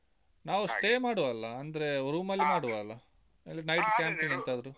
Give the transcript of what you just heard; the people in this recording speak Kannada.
ನಾವ್ stay ಮಾಡುವ ಅಲ್ಲಾ? ಅಂದ್ರೆ. room ಮಾಡುವ ಅಲ್ಲಾ? ಇಲ್ಲಾಂದ್ರೆ night camping ಎಂತಾದ್ರೂ?